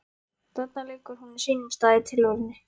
Þarna liggur hún á sínum stað í tilverunni.